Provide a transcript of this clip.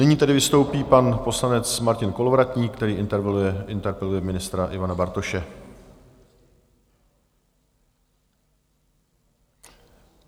Nyní tedy vystoupí pan poslanec Martin Kolovratník, který interpeluje ministra Ivana Bartoše.